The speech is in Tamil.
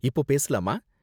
இப்போ பேசலாமா?